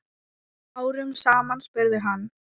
Árum saman? spurði hann.